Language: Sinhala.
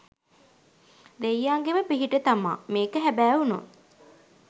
දෙයියන්ගෙම පිහිට තමා මේක හැබෑ වුණොත්.